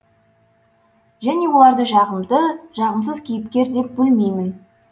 және оларды жағымды жағымсыз кейіпкер деп бөлмеймін